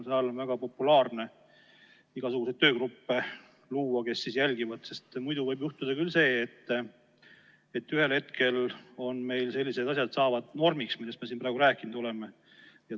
Viimasel ajal on väga populaarne luua igasuguseid töögruppe, kes jälgivad, sest muidu võib juhtuda küll see, et ühel hetkel saavad meil sellised asjad, millest me siin praegu rääkinud oleme, normiks.